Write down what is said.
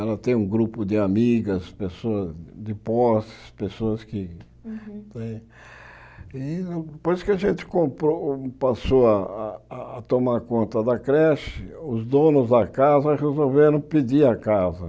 Ela tem um grupo de amigas, pessoas de posses, pessoas que... Depois que a gente comprou passou a tomar conta da creche, os donos da casa resolveram pedir a casa.